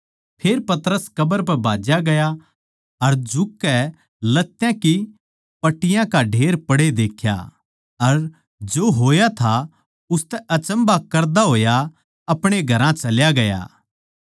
फेर पतरस कब्र पै भाज्या ग्या अर झुककै लत्यां की पट्टियाँ का ढेर पड़े देक्खे अर जो होया था उसतै अचम्भा करता होया अपणे घरां चल्या ग्या